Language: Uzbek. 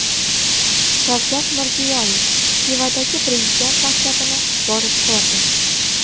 Shavkat Mirziyoyev Xivadagi Prezident maktabini borib ko‘rdi.